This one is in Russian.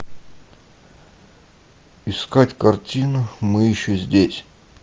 искать картину мы еще здесь